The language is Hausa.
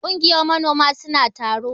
Kungiyar manoma suna taro.